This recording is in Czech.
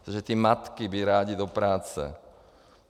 Protože ty matky by rády do práce.